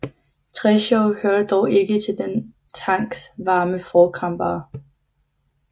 Treschow hørte dog ikke til denne tankes varme forkæmpere